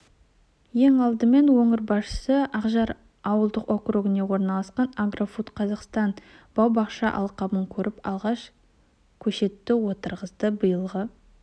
ең алдымен өңір басшысы ақжар ауылдық округінде орналасқан агрофуд-қазақстан бау-бақша алқабын көріп алғашқы көшетті отырғызды биылғы